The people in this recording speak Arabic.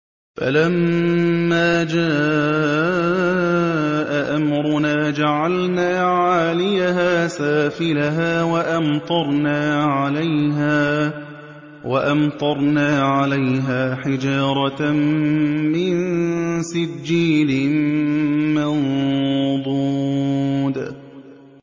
فَلَمَّا جَاءَ أَمْرُنَا جَعَلْنَا عَالِيَهَا سَافِلَهَا وَأَمْطَرْنَا عَلَيْهَا حِجَارَةً مِّن سِجِّيلٍ مَّنضُودٍ